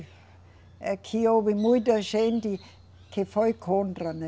É que houve muita gente que foi contra, né?